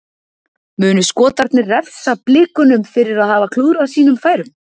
Munu Skotarnir refsa Blikunum fyrir að hafa klúðrað sínum færum?